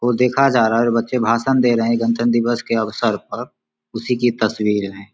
को देखा जा रहा है और बच्चें भाषण दे रहे है गणतन्त्र दिवस के अवसर पर उसी की तस्वीर है।